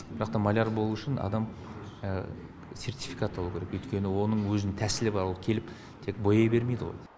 бірақ та маляр болу үшін адам сертификаты болу керек өйткені оның өзінің тәсілі бар ол келіп тек бояй бермейді ғой